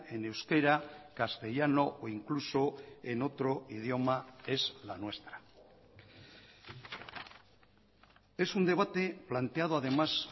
en euskera castellano o incluso en otro idioma es la nuestra es un debate planteado además